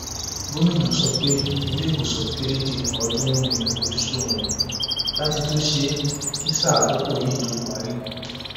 gomina sọ pé ilé ìwòsàn kéréje ọọdúnrún ni àfojúsùn òun láti tún ṣe kí sáà àkókò yìí tóó parí